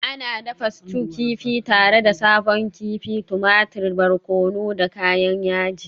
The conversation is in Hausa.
Ana dafa stew kifi tare da sabon kifi, tumatir, barkono da kayan yaji.